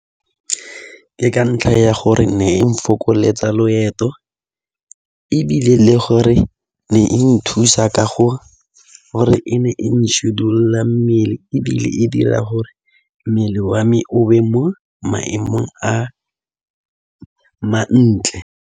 Ke ka ntlha ya gore ne e nfokoletsa loeto ebile le gore ne e nthusa ka gore e ne e mmele ebile e dira gore mmele wa me o be mo maemong a mantle.